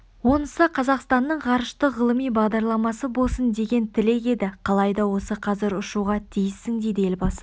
онысы қазақстанның ғарыштық ғылыми бағдарламасы болсын деген тілек еді қалайда осы қазір ұшуға тиіссің деді елбасы